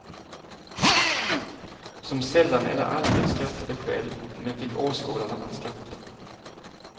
Som sällan eller aldrig skrattade själv men fick åskådarna att skratta.